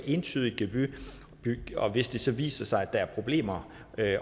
gebyr og hvis det så viser sig at der er problemer